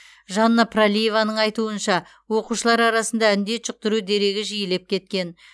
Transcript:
жанна пралиеваның айтуынша оқушылар арасында індет жұқтыру дерегі жиілеп кеткен